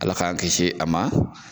Ala k'an kisi a ma.